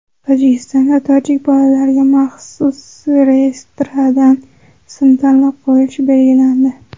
Tojikistonda tojik bolalariga maxsus reyestrdan ism tanlab qo‘yilishi belgilandi.